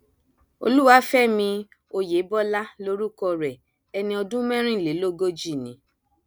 olúwàfẹmí ọyẹbọlá lorúkọ rẹ ẹni ọdún mẹrìnlélógójìí ni